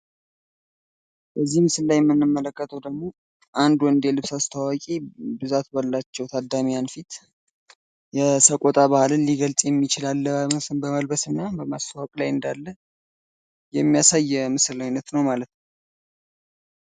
በዚህ ምስል ላይ የምንመለከተው ደግሞ አንድ ወንድ የልብስ አስተዋዋቂ ብዛት ባላቸው ታዲያሚያን ፊት የሰቆጣ ባህልን ሊገልጽ የሚችል አለባበስን በመልበስ እና በማስተዋወቅ ላይ እንዳለ የሚያሳይ የምስል አይነት ነው ማለት ነው።